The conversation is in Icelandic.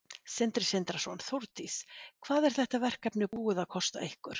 Sindri Sindrason: Þórdís, hvað er þetta verkefni búið að kosta ykkur?